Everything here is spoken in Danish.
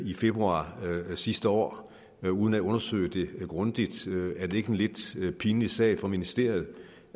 i februar sidste år uden at undersøge det grundigt er det ikke en lidt pinlig sag for ministeriet